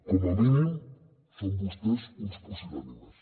com a mínim són vostès uns pusil·lànimes